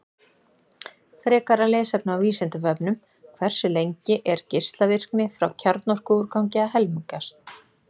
Frekara lesefni á Vísindavefnum: Hversu lengi er geislavirkni frá kjarnorkuúrgangi að helmingast?